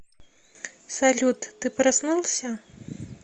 салют ты проснулся